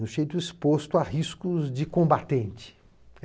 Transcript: no jeito exposto a riscos de combatente.